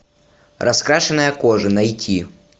раскрашенная кожа найти